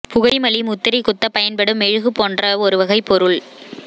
புகைமலி முத்திரை குத்தப் பயன்படும் மெழுகு போன்ற ஒரு வகைப் பொருள்